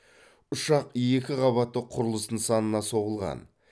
ұшақ екі қабатты құрылыс нысанына соғылған